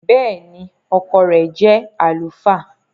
Bẹ́ẹ̀ni, ọkọ rẹ jẹ alufaa.